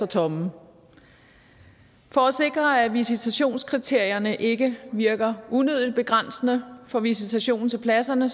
tomme for at sikre at visitationskriterierne ikke virker unødigt begrænsende for visitationen til pladserne